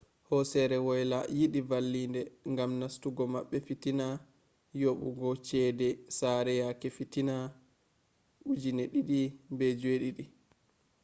hosere woyla yidi vallinde gam nastugo mabbe fitina yobugo cede sare yake fitina 2007